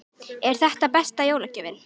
Hafsteinn: Og er þetta besta jólagjöfin?